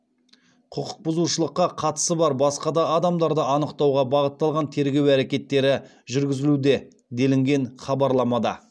құқық бұзушылыққа қатысы бар басқа да адамдарды анықтауға бағытталған тергеу әрекеттері жүргізілуде делінген хабарамада